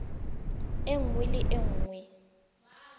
e nngwe le e nngwe